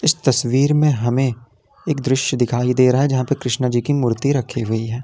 इस तस्वीर में हमें एक दृश्य दिखाई दे रहा है जहां पर कृष्ण जी की मूर्ति रखी हुई है।